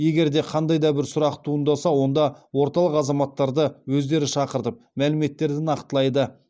егер де қандай да бір сұрақтар туындаса онда орталық азаматтарды өздері шақыртып мәліметтерді нақтылайды